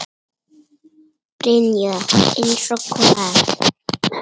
Brynja: Eins og hvað?